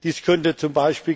Dies könnte